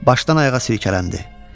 Başdan ayağa silkələndi.